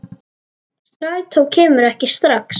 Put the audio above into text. Strætó kemur ekki strax.